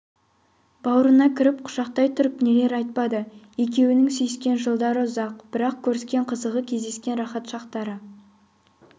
баурына кіріп құшақтай тұрып нелер айтпады екеуінің сүйіскен жылдары ұзақ бірақ көріскен қызығы кездескен рақат шақтары